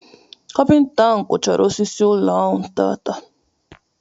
Kapinta ahụ kụchaara osisi ụlọ ahụ taata.